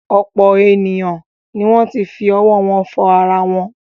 Ọ̀pọ̀ ènìyàn ni wọ́n ti fi ọwọ́ wọn fọ ara wọn.